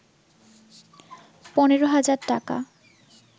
১৫,০০০ টাকা